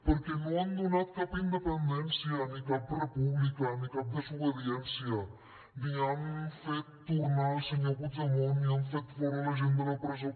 perquè no han donat cap independència ni cap república ni cap desobediència ni han fet tornar el senyor puigdemont ni han fet fora la gent de la presó